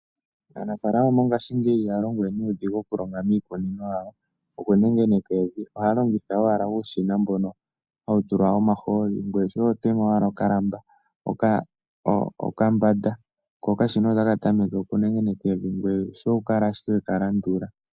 Aanafalama mongashingeyi ihaya longo we nuudhigu okulonga miikunino yawo okunengeneka evi. Ohaya longitha owala uushina mbono hawu tulwa omahooli. Ngoye shoye oho tema owala okambanda ko okashina otaka tameke okunengeneka evi. Ngoye shoye okukala ashike we ka landula.